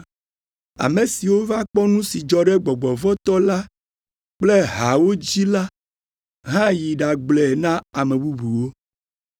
Ame siwo va kpɔ nu si dzɔ ɖe gbɔgbɔ vɔ̃ tɔ la kple haawo dzi la hã yi ɖagblɔe na ame bubuwo,